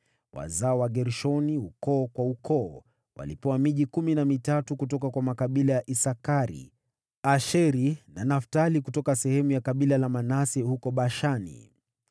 Wazao wa Gershoni, ukoo kwa ukoo, walipewa miji kumi na mitatu kutoka kwa makabila ya Isakari, Asheri na Naftali kutoka sehemu ya kabila la Manase huko Bashani.